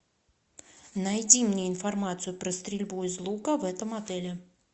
найди мне информацию про стрельбу из лука в этом отеле